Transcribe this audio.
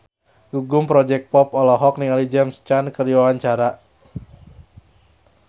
Gugum Project Pop olohok ningali James Caan keur diwawancara